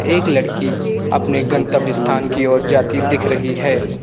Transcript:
एक लड़की अपने गन्तव्य स्थान की ओर जाती दिख रही है।